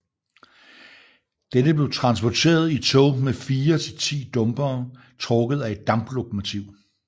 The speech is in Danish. Dette blev transporteret i tog med fire til ti dumpere trukket af et damplokomotiv